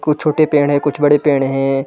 कुछ छोटे पेड़ है कुछ बड़े पेड़ है ।